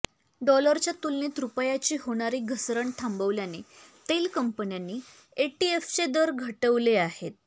डॉलरच्या तुलनेत रुपयाची होणारी घसरण थांबल्याने तेल कंपन्यांनी एटीएफचे दर घटवले आहेत